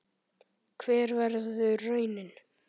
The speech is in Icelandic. Hver verður raunin?